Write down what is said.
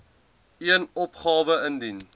een opgawe ingedien